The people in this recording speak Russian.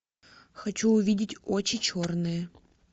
хочу увидеть очи черные